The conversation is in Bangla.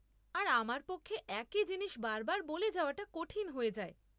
আর আমার পক্ষে একই জিনিস বার বার বলে যাওয়াটা কঠিন হয়ে যায় ।